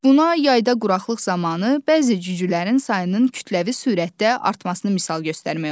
Buna yayda quraqlıq zamanı bəzi cücülərin sayının kütləvi sürətdə artmasını misal göstərmək olar.